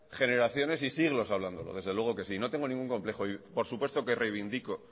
generaciones y siglos hablándolo desde luego que sí no tengo ningún complejo y por supuesto que reivindico